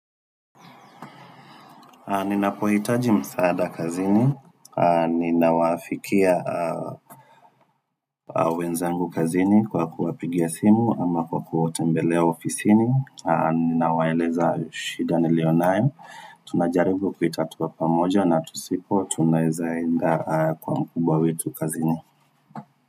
Ninapohitaji msaada kazini, aah ninawafikia wenzangu kazini kwa kuwapigia simu ama kwa kuwatembelea ofisini, aah nawaeleza shida nilio nayo, tunajaribu kuitatua pamoja na tusipo tunazaenda kwa mkuba wetu kazini.